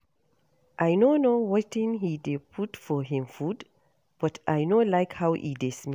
I no know wetin he dey put for him food but I no like how e dey smell